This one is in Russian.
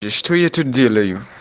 и что я тут делаю